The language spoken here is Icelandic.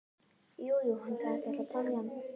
Jú, jú, hann sagðist ætla að temja hann.